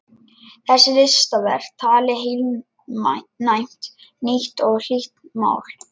Þessi listaverk tali heilnæmt, nýtt og hlýtt mál.